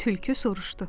Tülkü soruşdu.